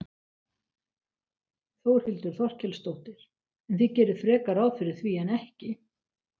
Þórhildur Þorkelsdóttir: En þið gerið frekar ráð fyrir því en ekki?